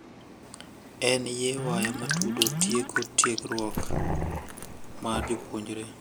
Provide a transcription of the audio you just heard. En ye waya matudo tieko tiegruok mar japuonjre,